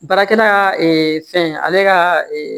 Baarakɛla ka fɛn ale ka